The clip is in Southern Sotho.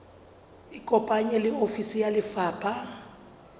ikopanye le ofisi ya lefapha